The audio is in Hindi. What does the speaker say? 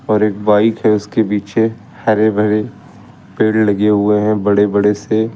और एक बाइक है उसके पीछे हरे भरे पेड़ लगे हुए हैं बड़े बड़े से।